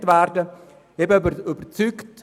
Ich bin aber überzeugt: